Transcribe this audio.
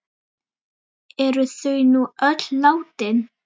Eru þau nú öll látin.